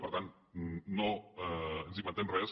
per tant no ens inventem res